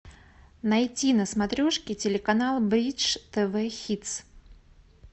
найти на смотрешке телеканал бридж тв хитс